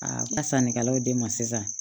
A ka sannikɛlaw de ma sisan